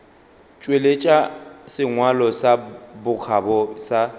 tšweletša sengwalo sa bokgabo sa